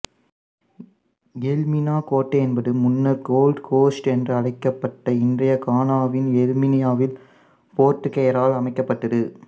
Elmina கோட்டை என்பது முன்னர் கோல்ட் கோஸ்ட் என்று அழைக்கப்பட்ட இன்றைய கானாவின் எல்மினாவில் போர்த்துக்கேயரால் அமைக்கப்பட்டது